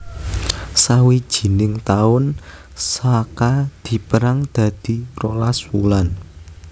Sawijining taun Saka dipérang dadi rolas wulan